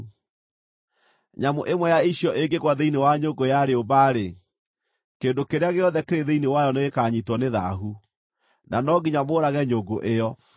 Nyamũ ĩmwe ya icio ĩngĩgũa thĩinĩ wa nyũngũ ya rĩũmba-rĩ, kĩndũ kĩrĩa gĩothe kĩrĩ thĩinĩ wayo nĩgĩkanyiitwo nĩ thaahu, na no nginya mũũrage nyũngũ ĩyo.